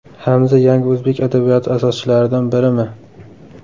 Hamza – yangi o‘zbek adabiyoti asoschilaridan birimi?.